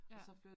Ja